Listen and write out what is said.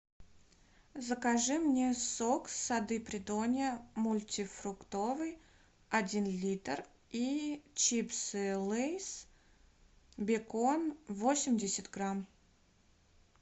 закажи мне сок сады придонья мультифруктовый один литр и чипсы лейс бекон восемьдесят грамм